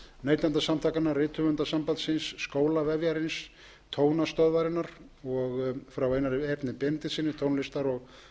neytendasamtakanna rithöfundasambandsins skólavefjarins tónastöðvarinnar og frá einari erni benediktssyni tónlistar og